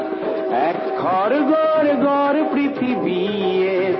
ఆయన ప్రయత్నాల కు ప్రశంస లు కూడా లభిస్తున్నాయి